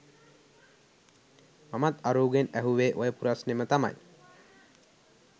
මමත් අරූගෙන් ඇහුවෙ ඔය පුරස්නෙම තමයි.